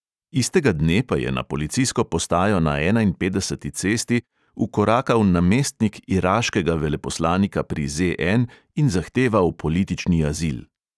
Istega dne pa je na policijsko postajo na enainpetdeseti cesti vkorakal namestnik iraškega veleposlanika pri ZN in zahteval politični azil.